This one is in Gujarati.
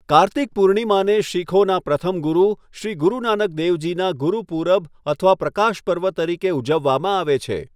કાર્તિક પૂર્ણિમાને શીખોના પ્રથમ ગુરુ શ્રી ગુરુ નાનક દેવજીનાં ગુરૂપૂરબ અથવા પ્રકાશ પર્વ તરીકે ઉજવવામાં આવે છે.